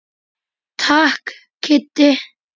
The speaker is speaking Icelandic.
Takk Kiddi.